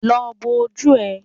Lọ bọ́ ojú ẹ